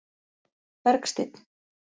Bergsteinn